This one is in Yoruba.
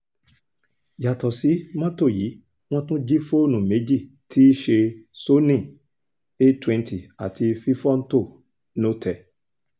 yàtọ̀ sí mọ́tò yìí wọ́n tún jí fóònù méjì tí í ṣe sony a twenty àti fífọ́htò notẹ̀